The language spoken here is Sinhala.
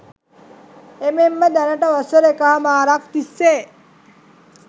එමෙන්ම දැනට වසර එකහමාරක් තිස්සේ